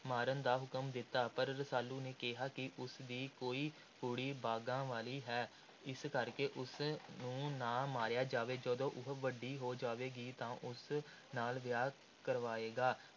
ਮਾਰਨ ਦਾ ਹੁਕਮ ਦਿੱਤਾ। ਪਰ ਰਸਾਲੂ ਨੇ ਕਿਹਾ ਕਿ ਉਸਦੀ ਕੋਈ ਕੁੜੀ ਭਾਗਾਂ ਵਾਲੀ ਹੈ, ਇਸ ਕਰਕੇ ਉਸ ਨੂੰ ਨਾ ਮਾਰਿਆ ਜਾਵੇ। ਜਦੋਂ ਉਹ ਵੱਡੀ ਹੋ ਜਾਵੇਗੀ ਤਾਂ ਉਸ ਨਾਲ ਵਿਆਹ ਕਰਵਾਏਗਾ।